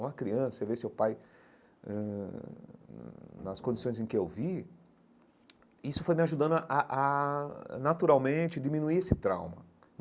Uma criança, você vê seu pai hum nas condições em que eu vi, isso foi me ajudando a a, naturalmente, diminuir esse trauma.